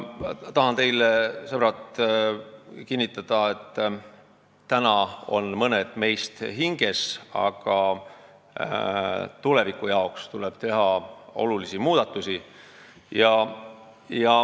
" Tahan teile, sõbrad, kinnitada, et praegu on mõned meist hinges, aga tuleviku jaoks tuleb olulisi muudatusi teha.